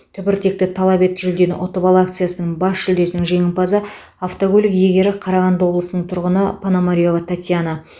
түбіртекті талап ет жүлдені ұтып ал акциясының бас жүлдесінің жеңімпазы автокөлік иегері қарағанды облысының тұрғыны пономарева татьяна